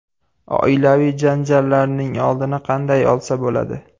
Oilaviy janjallarning oldini qanday olsa bo‘ladi?.